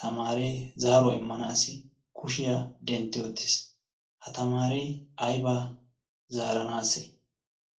tamaaree zaaruwaa immanaassi kushiyaa dentti oottiis. ha tamaaree aybaa zaaranaase?